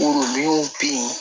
bɛ yen